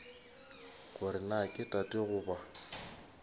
gore na ke tate goba